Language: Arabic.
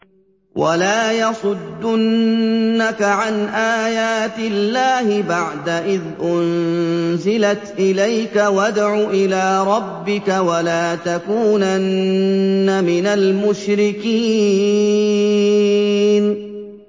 وَلَا يَصُدُّنَّكَ عَنْ آيَاتِ اللَّهِ بَعْدَ إِذْ أُنزِلَتْ إِلَيْكَ ۖ وَادْعُ إِلَىٰ رَبِّكَ ۖ وَلَا تَكُونَنَّ مِنَ الْمُشْرِكِينَ